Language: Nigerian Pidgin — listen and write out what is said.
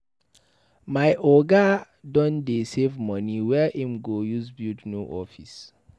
My oga don dey save money wey im go use build new office.